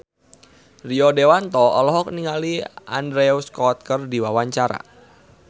Rio Dewanto olohok ningali Andrew Scott keur diwawancara